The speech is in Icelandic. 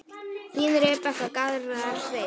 Þín, Rebekka og Garðar Steinn.